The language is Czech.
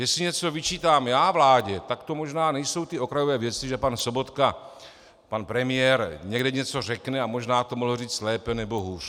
Jestli něco vyčítám já vládě, tak to možná nejsou ty okrajové věci, že pan Sobotka, pan premiér, někde něco řekne a možná to mohl říct lépe nebo hůř.